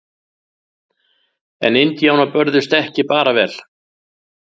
En indjánar börðust ekki bara vel.